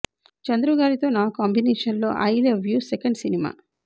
చంద్రు గారితో నా కాంబినేషన్లో I love you second cinema